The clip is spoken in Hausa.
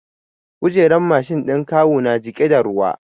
Kujerar Mashin ɗin kawu ya jiƙe da ruwa